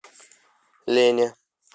лене